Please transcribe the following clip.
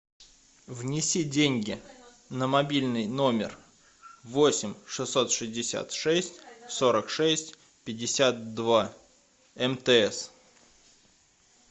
внеси деньги на мобильный номер восемь шестьсот шестьдесят шесть сорок шесть пятьдесят два мтс